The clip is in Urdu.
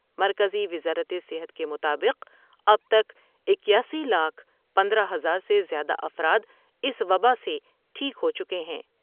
مرکزی وزارت صحت کے مطابق اب تک اکیاسی لاکھ پندرہ ہزار سے زیادہ افراداس وباء سے ٹھیک ہو چکے ہیں ۔